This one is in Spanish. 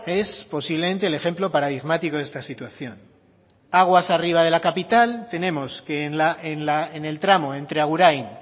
es posiblemente el ejemplo paradigmático de esta situación aguas arriba de la capital tenemos que en el tramo entre agurain